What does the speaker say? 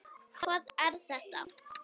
Hvað er þetta!